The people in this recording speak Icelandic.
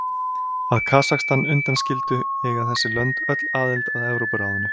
Að Kasakstan undanskildu eiga þessi lönd öll aðild að Evrópuráðinu.